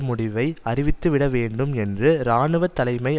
முடிவை அறிவித்துவிட வேண்டும் என்று இராணுவ தலைமை